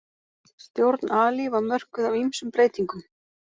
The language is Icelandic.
Stjórn Ali var mörkuð af ýmsum breytingum.